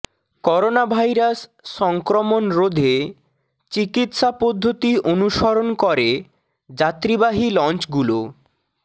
coronavirus সংক্রমণ রোধে চিকিৎসা পদ্ধতি অনুসরণ করে যাত্রীবাহী লঞ্চগুলোক